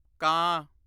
ਕਾਂ